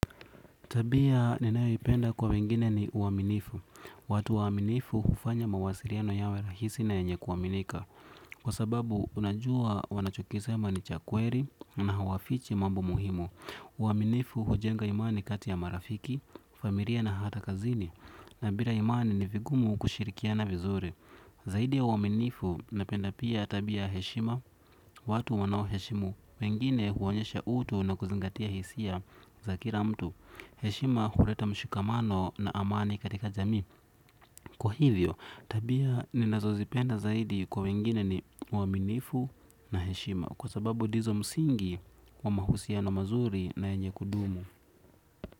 Tabia ninayoipenda kwa wengine ni uaminifu. Watu waminifu hufanya mawasiliano yawe rahisi na yenye kuaminika. Kwa sababu unajua wanachokisema ni cha kweli na hawafichi mambo muhimu. Uaminifu hujenga imani kati ya marafiki, familia na hata kazini. Na bila imani ni vigumu kushirikiana vizuri. Zaidi ya uaminifu napenda pia tabia ya heshima. Watu wanawo heshimu wengine huonyesha utu na kuzingatia hisia za kila mtu. Heshima huleta mshikamano na amani katika jami. Kwa hivyo, tabia ninazo zipenda zaidi kwa wengine ni uaminifu na heshima kwa sababu dizo msingi wa mahusiano mazuri na yenye kudumu.